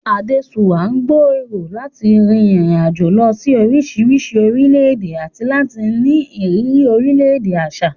Adesuwa ń gbèrò láti rin ìrìn àjò lọ sí oríṣiríṣi orílẹ̀-èdè àti láti ní ìrírí oríṣiríṣi àṣà.